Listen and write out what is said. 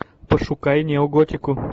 пошукай неоготику